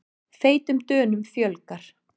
Feitum Dönum fjölgar